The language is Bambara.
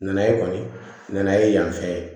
Nanaye kɔni nana ye yan fɛ ye